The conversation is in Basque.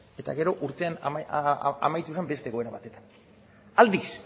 eta gero urtean amaitu zen beste egoera batekin aldiz